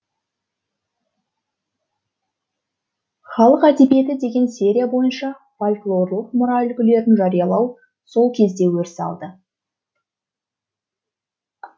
халық әдебиеті деген серия бойынша фольклорлық мұра үлгілерін жариялау сол кезде өріс алды